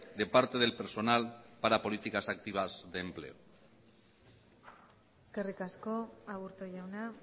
de parte del personal para políticas activas de empleo eskerrik asko aburto jauna